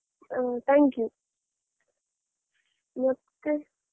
ಹ thank you ಮತ್ತೆ.